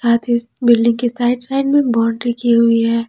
Building के side side में boundary की हुई है।